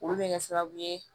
Olu bɛ kɛ sababu ye